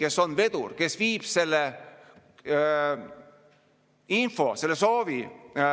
Ei ole debatt see, kui me räägime julgeolekuolukorrast, olukorra muutumisest ja jälle ajame rinda kummi.